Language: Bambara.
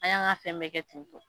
An y'an ka fɛn bɛɛ kɛ ten tɔ.